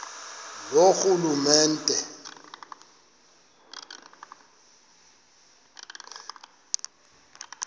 loorhulumente